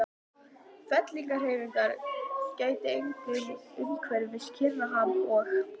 Fellingahreyfinga gætti einkum umhverfis Kyrrahaf og